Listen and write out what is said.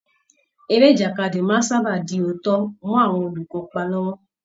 Eré ìjàkadì máa ń sábà di òótọ́ mọ́ àwọn olùkópa lọ́wọ́